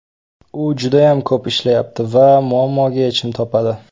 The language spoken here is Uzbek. U judayam ko‘p ishlayapti va muammoga yechim topadi.